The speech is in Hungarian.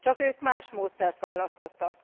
Csak ők más módszert választottak.